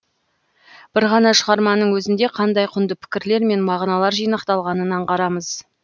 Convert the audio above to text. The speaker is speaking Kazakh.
бір ғана шығарманың өзінде қандай құнды пікірлер мен мағыналар жинақталғанын аңғарамыз